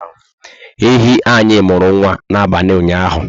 Ehi anyị muru nwa na abalị ụnyaahụ